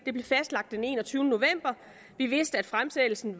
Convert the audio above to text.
den enogtyvende november vi vidste at fremsættelsen